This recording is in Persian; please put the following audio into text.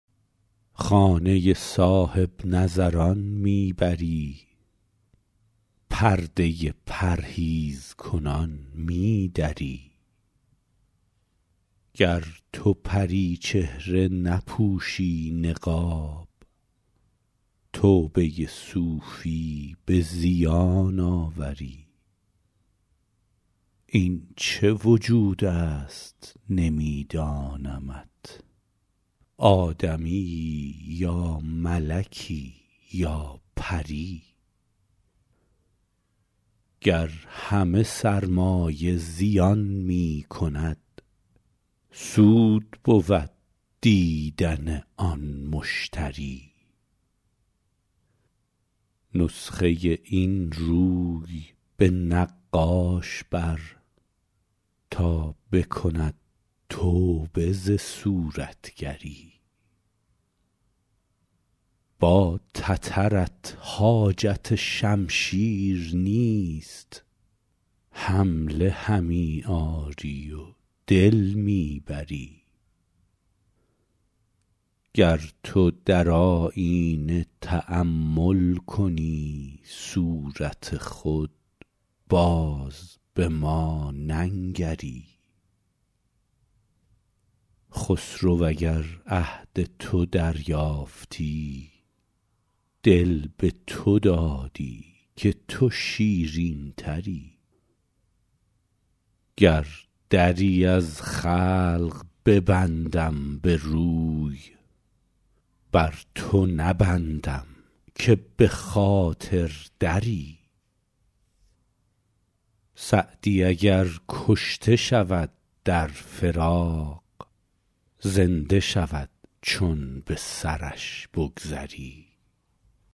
خانه صاحب نظران می بری پرده پرهیزکنان می دری گر تو پری چهره نپوشی نقاب توبه صوفی به زیان آوری این چه وجود است نمی دانمت آدمیی یا ملکی یا پری گر همه سرمایه زیان می کند سود بود دیدن آن مشتری نسخه این روی به نقاش بر تا بکند توبه ز صورتگری با تترت حاجت شمشیر نیست حمله همی آری و دل می بری گر تو در آیینه تأمل کنی صورت خود باز به ما ننگری خسرو اگر عهد تو دریافتی دل به تو دادی که تو شیرین تری گر دری از خلق ببندم به روی بر تو نبندم که به خاطر دری سعدی اگر کشته شود در فراق زنده شود چون به سرش بگذری